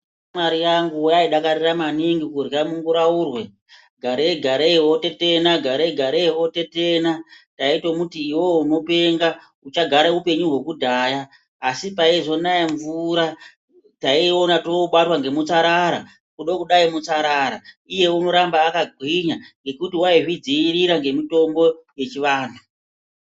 Shamwari yangu yaidakarira maningi kurya munguraurwe, garei garei wotetena, garei garei wotetena. Ndaitomuti, iwewe unopenga, uchagare upenyu hwekudhaya, asi paizonaye mvura, taiona tobatwa ngemutsarara. Kudo kudai, mutsarara. Iye unoramba akagwinya ngekuti waizvidzivirira ngemutombo wechivanhu.